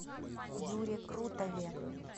юре крутове